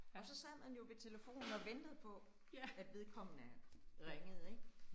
Og så sad man jo ved telefonen, og ventede på, at vekommende ringede ik